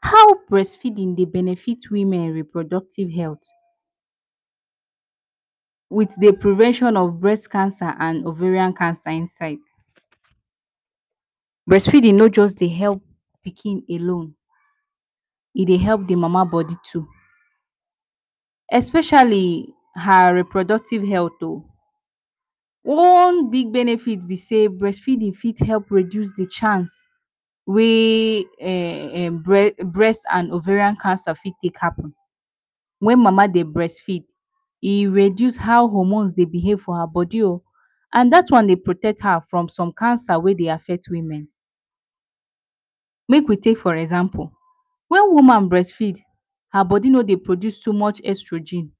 How brest feedin dey benefit women reproductive health with the prevention of brest cancer and ovarian cancer inside? Brest feedin no just dey help pikin alone, e dey help the mama body too, especiali her reproductive health o, one big benefit be sey brest feedin fit help reduce the chance wey brest and ovarian cancer fit take happen. Wen mama dey brest feed, e reduce how hormorne dey behave from her bodi o and dat one dey protect her form som cancer wey dey affect women. Make we take for example, while woman brest feed, her bodi no dey produce so much exogyne